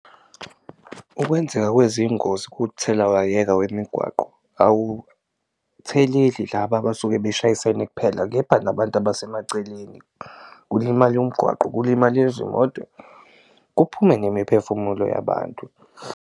Ukwenzeka kwezingozi kuthelawayeka wemigwaqo awutheleli laba abasuke beshayisene kuphela kepha nabantu abasemaceleni, kulimale umgwaqo, kulimale izimoto kuphume nemiphefumulo yabantu.